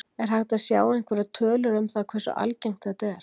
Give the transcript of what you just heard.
Er hægt að sjá einhverjar tölur um það hversu algengt þetta er?